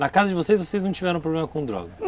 Na casa de vocês, vocês não tiveram problema com droga?